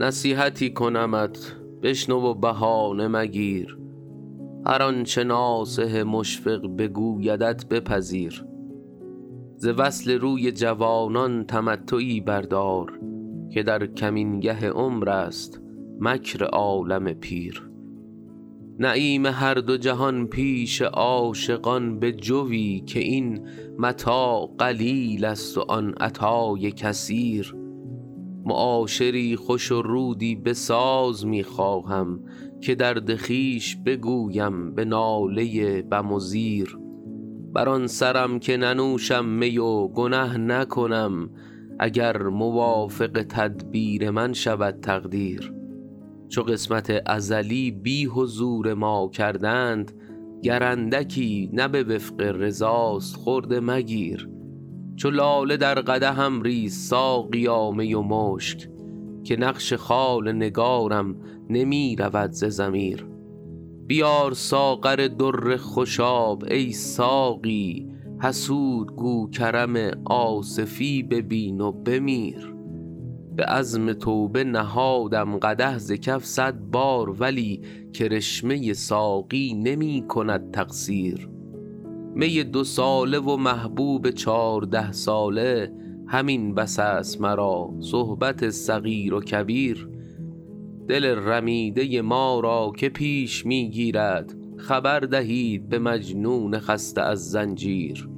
نصیحتی کنمت بشنو و بهانه مگیر هر آنچه ناصح مشفق بگویدت بپذیر ز وصل روی جوانان تمتعی بردار که در کمینگه عمر است مکر عالم پیر نعیم هر دو جهان پیش عاشقان بجوی که این متاع قلیل است و آن عطای کثیر معاشری خوش و رودی بساز می خواهم که درد خویش بگویم به ناله بم و زیر بر آن سرم که ننوشم می و گنه نکنم اگر موافق تدبیر من شود تقدیر چو قسمت ازلی بی حضور ما کردند گر اندکی نه به وفق رضاست خرده مگیر چو لاله در قدحم ریز ساقیا می و مشک که نقش خال نگارم نمی رود ز ضمیر بیار ساغر در خوشاب ای ساقی حسود گو کرم آصفی ببین و بمیر به عزم توبه نهادم قدح ز کف صد بار ولی کرشمه ساقی نمی کند تقصیر می دوساله و محبوب چارده ساله همین بس است مرا صحبت صغیر و کبیر دل رمیده ما را که پیش می گیرد خبر دهید به مجنون خسته از زنجیر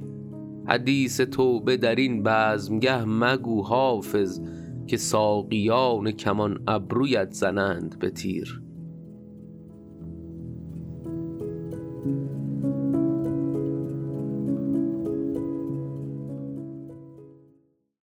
حدیث توبه در این بزمگه مگو حافظ که ساقیان کمان ابرویت زنند به تیر